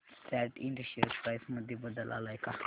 सॅट Ind share price मध्ये बदल आलाय का